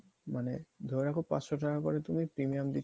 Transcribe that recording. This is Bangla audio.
মানে ধরে রাখো পাঁচশ টাকা করে তুমি premium দিচ্ছ